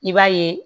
I b'a ye